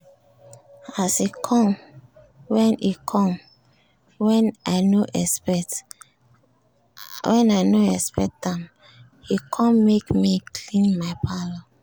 as e com wen e com wen i no expect am e com make me clean my parlour